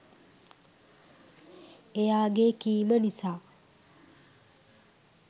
එයාගේ කීම නිසා